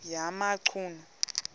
yamachunu